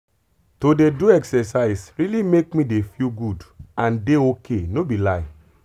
to dey do exercise really make me dey feel good and dey ok no be lie.